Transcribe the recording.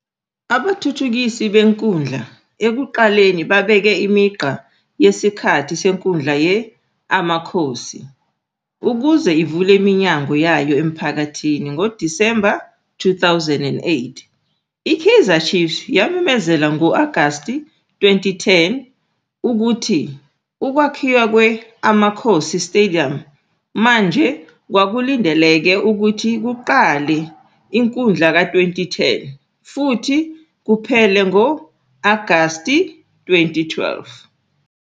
Abathuthukisi benkundla ekuqaleni babeke imigqa yesikhathi senkundla ye-Amakhosi, ukuze ivule iminyango yayo emphakathini ngoDisemba 2008. I-Kaizer Chiefs yamemezela ngo-Agasti 2010, ukuthi ukwakhiwa kwe-Amakhosi "Stadium" manje kwakulindeleke ukuthi kuqale ekwindla ka-2010, futhi kuphele ngo-Agashi 2012.